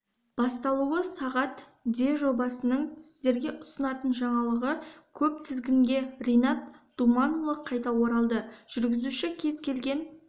басталуы сағат де жобаның сіздерге ұсынатын жаңалығы көп тізгінге ринат думанұлы қайта оралды жүргізуші кез келген